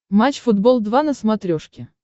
матч футбол два на смотрешке